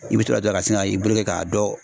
I bɛ to la dɔrɔn ka sin ka i bolo kɛ k'a dɔ